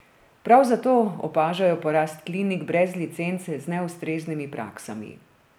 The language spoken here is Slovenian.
Prav zato opažajo porast klinik brez licenc z neustreznimi praksami.